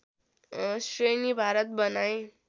श्रेणी भारत बनाएँ